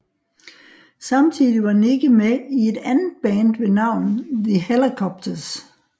Samtidig var Nicke med i et andet band ved navn The Hellacopters